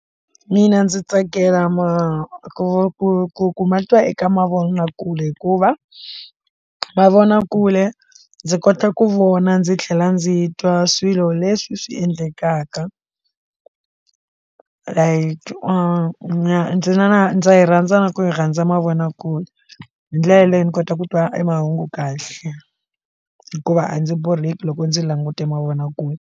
Mina ndzi tsakela ma ku ku ku ku matwa eka mavonakule hikuva mavonakule ndzi kota ku vona ndzi tlhela ndzi twa swilo leswi swi endlekaka like na ndzi na na ndza yi rhandza na ku rhandza mavonakule hi ndlela leyi ni kota ku twa e mahungu kahle hikuva a ndzi borheki loko ndzi langute mavonakule.